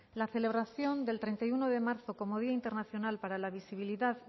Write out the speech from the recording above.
la celebración del treinta y uno de marzo como día internacional para la visibilidad